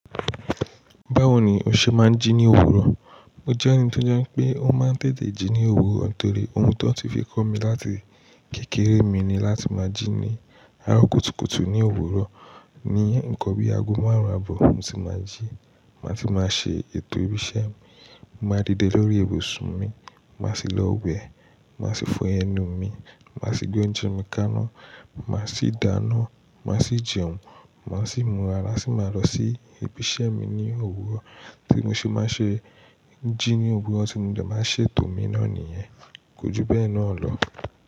Báwo ni o ṣe máa ń jí ní òwúrọ̀? Mo jẹ́ ẹni tó jẹ́ pé ó máa ń tètè jí ní òwúrọ̀ torí ohun tó ti fi kọ́ mi láti kékeré mi ni láti máa jí ní Arọ kùtùkùtù ní òwúrọ̀. Ni nǹkan bí ago márùn-ún àbọ̀ mo ti máa jí. Màá ti máa ṣe ètò ibi iṣẹ́ mi, màá dìde lórí ibùsùn mi, màá sì lọ wẹ̀, màá sì fọ ẹnu mi, màá sì gbé oúnjẹ mi káná, màá sì dáná, màá sì jẹun, màá sì múra, sì máa lọ sí ibi iṣẹ́ mi ní òwúrọ̀. Bí mo ṣe máa ṣe jí ní òwúrọ̀, ti mo dẹ̀ máa ń ṣe tòmíná nìyẹn. Ko ju bẹ́ẹ̀ náà lọ.